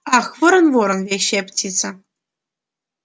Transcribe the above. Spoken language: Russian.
ах ворон ворон вещая птица